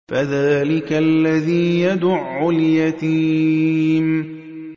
فَذَٰلِكَ الَّذِي يَدُعُّ الْيَتِيمَ